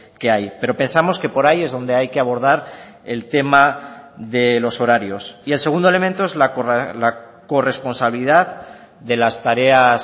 que hay pero pensamos que por ahí es donde hay que abordar el tema de los horarios y el segundo elemento es la corresponsabilidad de las tareas